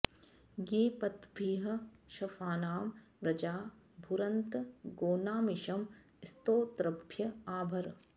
ये पत्वभिः शफानां व्रजा भुरन्त गोनामिषं स्तोतृभ्य आ भर